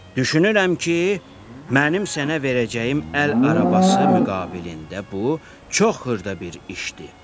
Düşünürəm ki, mənim sənə verəcəyim əl arabası müqabilində bu çox xırda bir işdir.